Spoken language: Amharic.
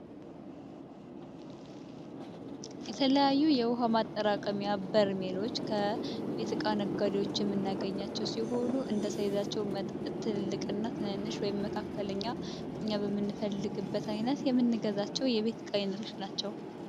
የተለያዩ የውኃ ማጠራቀሚያ በርሜሎች ከ ቤት እቃ ነጋዴዎች የምናገኛቸው ሲሆኑ፤ እንደ ሳይዛቸው መጠናቸው ትልቅና ትንሽ በመካከለኛ እኛ በምንፈልግበት ዓይነት የምንገዛቸውን የቤት እቃ አይነቶች ናቸው።